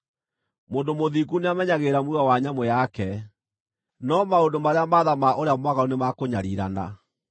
Mũndũ mũthingu nĩamenyagĩrĩra muoyo wa nyamũ yake, no maũndũ marĩa ma tha ma ũrĩa mwaganu nĩ ma kũnyariirana.